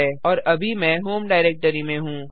और अभी मैं होम डाइरेक्टरी में हूँ